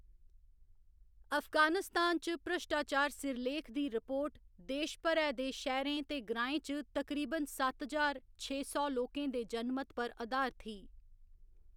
अफगानिस्तान च भ्रश्टाचार सिरलेख दी रिपोर्ट देश भरै दे शैह्‌‌‌रें ते ग्राएं च तकरीबन सत्त ज्हार छे सौ लोकें दे जनमत पर अधारत ही।